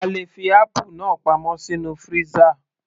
A lè fi apple náà pamọ́ sínú freezer